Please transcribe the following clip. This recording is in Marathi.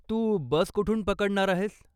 तू बस कुठून पकडणार आहेस?